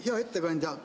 Hea ettekandja!